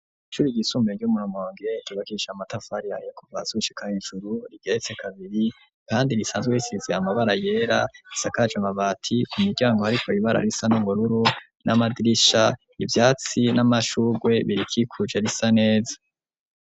Ishuri ryisumbuye ryo mu Rumonge ryubakishijwe amatafari ahiye kuva hasi gushika hejuru rigeretse kabiri kandi risanzwe risize amabara yera risakaje amabati ku miryango ariko ibara risa n'ubururu n'amadirisha ivyatsi n'amashugwe birikikuje risa neza.